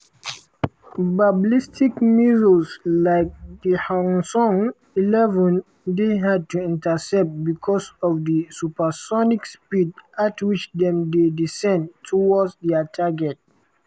ballistic missiles like di hwasong-11 dey hard to intercept because of di supersonic speed at which dem dey descend towards dia target.